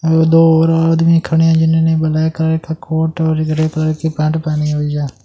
और दो और आदमी खड़े हैं जिन्होंने ब्लैक कलर ठ कोट और ग्रे कलर की पैंट पेहनी हुईं है।